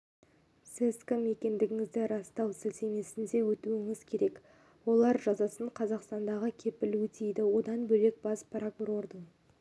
сіз кім екендігіңізді растау сілтемесіне өтуіңіз керек олар жазасын қазақстанға келіп өтейді одан бөлек бас прокурордың